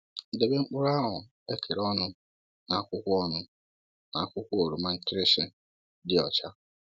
Debe mkpụrụ ahụ ekere ọnụ na akwụkwọ ọnụ na akwụkwọ oroma nkịrịshị dị ọcha.